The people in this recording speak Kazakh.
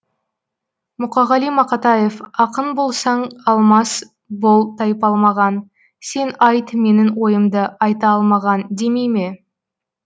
мұқағали мақатаев ақын болсаң алмас бол тайпалмаған сен айт менің ойымды айта алмаған демей ме